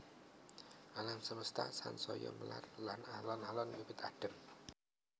Alam semesta sansaya melar lan alon alon wiwit adhem